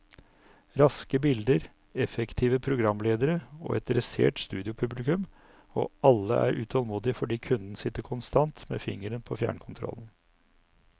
Raske bilder, effektive programledere og et dressert studiopublikum, og alle er utålmodige fordi kunden sitter konstant med fingeren på fjernkontrollen.